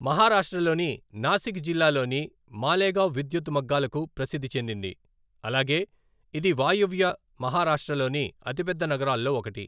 మహారాష్ట్రలోని నాసిక్ జిల్లాలోని మాలెగావ్ విద్యుత్ మగ్గాలకు ప్రసిద్ధి చెందింది, అలాగే ఇది వాయువ్య మహారాష్ట్రలోని అతిపెద్ద నగరాల్లో ఒకటి.